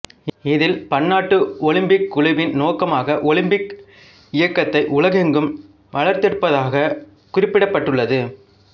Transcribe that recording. இதில் பன்னாட்டு ஒலிம்பிக் குழுவின் நோக்கமாக ஒலிம்பிக் இயக்கத்தை உலகெங்கும் வளர்த்தெடுப்பதாகக் குறிப்பிடப்பட்டுள்ளது